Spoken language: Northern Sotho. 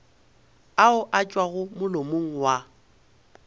ao a tšwago molomong wa